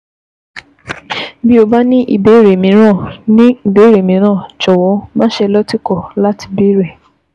Bí o bá ní ìbéèrè mìíràn, ní ìbéèrè mìíràn, jọ̀wọ́ máṣe lọ́tìkọ̀ láti béèrè